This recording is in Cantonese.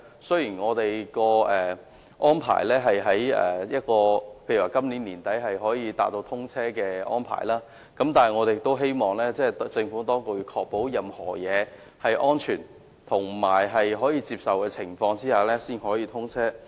雖然大橋預定在今年年底達致通車條件，但我希望政府當局能在確保一切均屬安全及可以接受的情況下，才讓大橋通車。